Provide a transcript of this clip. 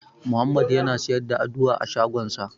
Muhammadu yana siyar da Aduwa a shagonsa.